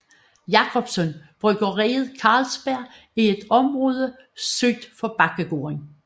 Jacobsen bryggeriet Carlsberg i et område syd for Bakkegården